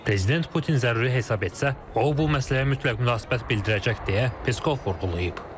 Prezident Putin zəruri hesab etsə, o bu məsələyə mütləq münasibət bildirəcək deyə Peskov vurğulayıb.